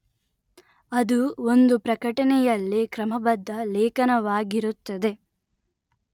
ಅದು ಒಂದು ಪ್ರಕಟಣೆಯಲ್ಲಿ ಕ್ರಮಬದ್ಧ ಲೇಖನವಾಗಿರುತ್ತದೆ